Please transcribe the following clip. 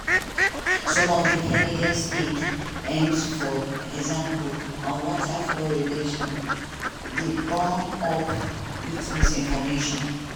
some of kennedy stated aims for example on water fluoridation dey bound up wit misinformation.